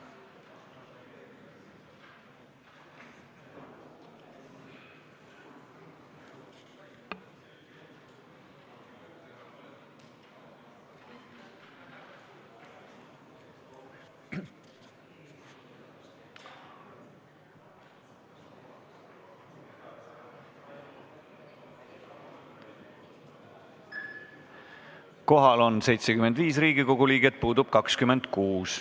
Kohaloleku kontroll Kohal on 75 Riigikogu liiget, puudub 26.